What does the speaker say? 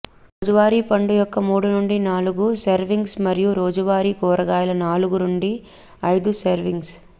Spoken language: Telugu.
రోజువారీ పండు యొక్క మూడు నుండి నాలుగు సేర్విన్గ్స్ మరియు రోజువారీ కూరగాయల నాలుగు నుండి ఐదు సేర్విన్గ్స్